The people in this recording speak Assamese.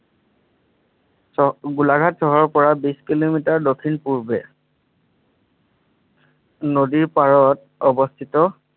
চ গোলাঘাট চহৰৰ পৰা বিছকিলোমিটাৰ দক্ষিণ পূৰ্বে নদীৰ পাৰত অৱস্থিত।